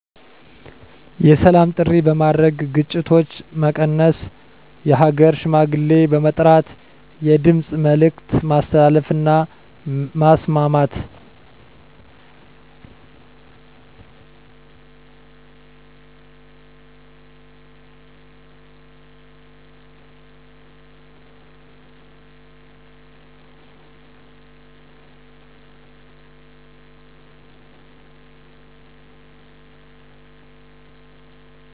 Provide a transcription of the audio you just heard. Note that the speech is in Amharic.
የሰላም ጥሪ በማድረግ ግጭቶች መቀነስ የሃገር ሽማግሌ በመጥራት የድምፅ መልዕክት ማስተላለፍ እና ማስማማት